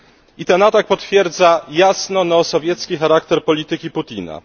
I ten atak potwierdza jasno neosowiecki charakter polityki Putina.